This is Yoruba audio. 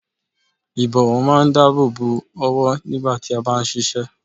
Ìbọ̀wọ́ máa ń dáàbò bo ọwọ́ nígbà tí a bá ń ṣiṣẹ́